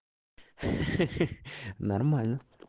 нормально